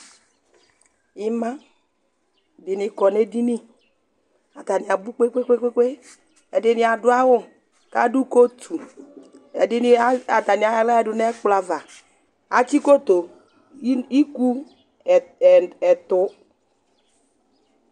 Ima dini kɔn 'edini Atani abʋ kpekpekpe, ɛdini adʋ awʋ k'adʋ coatu, ɛdini ad atani ayɔ aɣla yǝdʋ n'ɛkplɔ ava Atsi koto iku ɛtʋ